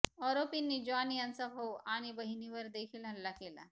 आरोपींनी जॉन यांचा भाऊ आणि बहिणीवर देखील हल्ला केला